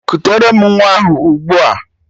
Kutere m nwa ahụ ụgbua